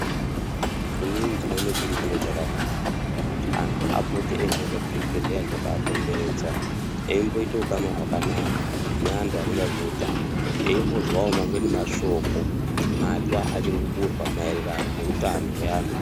Inin ndinoona chiri chiro chakanaka kuti anhu apote eimboenda kuzvibhehlera zvakaakomberedza eimboita ukama hwakanaka neantu anoona nezveutano eimbozwawo mamweni mashoko matsva achirikuburwa maererano neutano